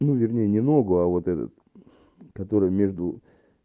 ну вернее не ногу а вот этот который между